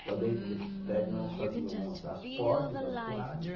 Então, dentro desses prédios, nós fazíamos as portas, os assoalhos.